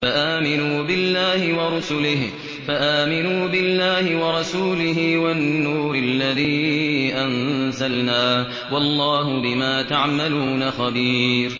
فَآمِنُوا بِاللَّهِ وَرَسُولِهِ وَالنُّورِ الَّذِي أَنزَلْنَا ۚ وَاللَّهُ بِمَا تَعْمَلُونَ خَبِيرٌ